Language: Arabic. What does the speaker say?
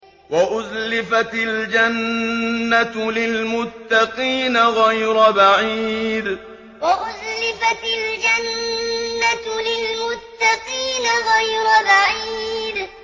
وَأُزْلِفَتِ الْجَنَّةُ لِلْمُتَّقِينَ غَيْرَ بَعِيدٍ وَأُزْلِفَتِ الْجَنَّةُ لِلْمُتَّقِينَ غَيْرَ بَعِيدٍ